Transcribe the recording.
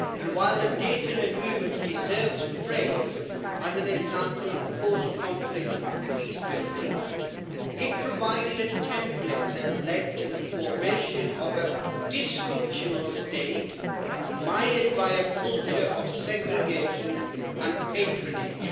While the Dayton Agreement deserves praise as an example of post conflict peace building, it provided a template that led to the formation of a dysfunctional state mired by a culture of segregation and patronage.